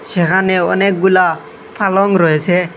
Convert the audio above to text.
সেখানে অনেকগুলা পালং রয়েছে।